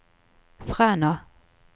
Fræna